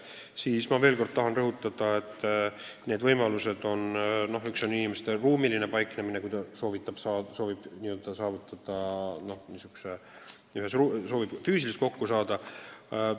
Ma tahan veel kord rõhutada, et need võimalused on päris head, kui inimene soovib nõustajaga füüsiliselt kokku saada.